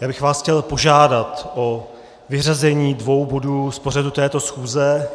Já bych vás chtěl požádat o vyřazení dvou bodů z pořadu této schůze.